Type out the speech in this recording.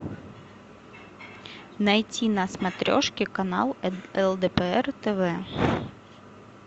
найти на смотрешке канал лдпр тв